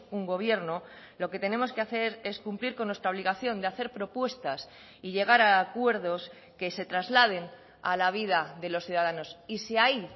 un gobierno lo que tenemos que hacer es cumplir con nuestra obligación de hacer propuestas y llegar a acuerdos que se trasladen a la vida de los ciudadanos y si ahí